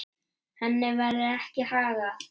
Henni verður ekki haggað.